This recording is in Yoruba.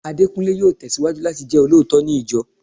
Adekunle yóò tesiwaju láti jẹ olóòótọ́ ní ìjọ